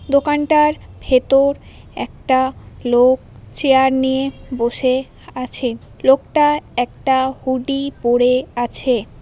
দোকানটার ভেতর একটা লোক চেয়ার নিয়ে বসে আছে লোকটা একটা হুডি পড়ে আছে।